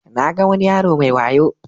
Na ga wani yaro mai wayo.